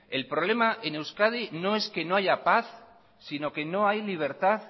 el problema en euskadi no es que no haya paz si no que no hay libertad